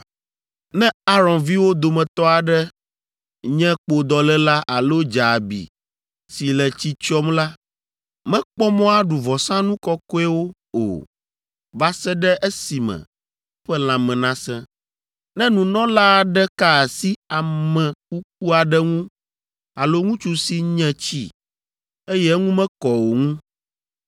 “ ‘Ne Aron viwo dometɔ aɖe nye kpodɔléla alo dze abi si le tsi tsyɔm la, mekpɔ mɔ aɖu vɔsanu kɔkɔewo o va se ɖe esime eƒe lãme nasẽ. Ne nunɔla aɖe ka asi ame kuku aɖe ŋu alo ŋutsu si nye tsi, eye eŋu mekɔ o ŋu,